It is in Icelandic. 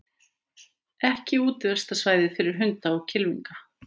Ekki útivistarsvæði fyrir hunda og kylfinga